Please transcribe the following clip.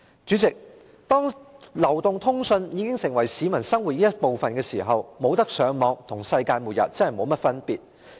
主席，當流動通訊已成為市民生活的一部分，若不能上網，真的跟世界末日沒有甚麼分別。